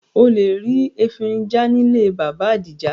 O lè rí efinrin já nílé Bàbá Adija